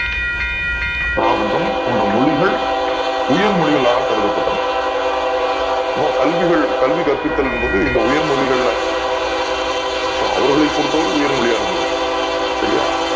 பிராகிருதம் போன்ற மொழிகசள் உயர்மொழிகளாக கருதப்பட்டன கல்விகள் கல்வி கர்பிதல் என்பது உயர் மொழிகள்ல so அவர்களை பொருத்தவரை உயர் மொழியாக அது சரியா